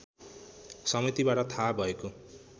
समितिबाट थाहा भएको